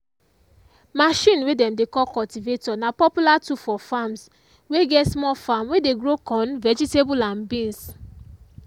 machine way dem dey call cultivator na popular tool for farms way get small farm way dey grow corn vegetable and beans.